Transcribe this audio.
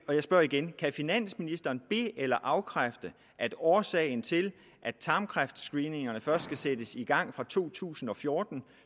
og jeg spørger igen kan finansministeren be eller afkræfte at årsagen til at tarmkræftscreeningerne først skal sættes i gang fra to tusind og fjorten